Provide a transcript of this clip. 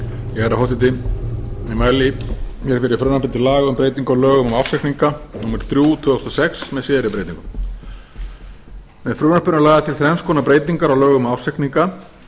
herra forseti ég mæli fyrir frumvarpi til laga um breytingu á lögum um ársreikninga númer þrjú tvö þúsund og sex með síðari breytingum með frumvarpinu er lagðar til þrenns konar breytingar á lögum um ársreikninga í